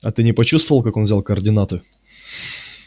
а ты не почувствовал как он взял координаты